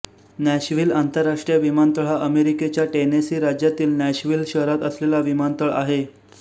Nashville आंतरराष्ट्रीय विमानतळ हा अमेरिकेच्या टेनेसी राज्यातील नॅशव्हिल शहरात असलेला विमानतळ आहे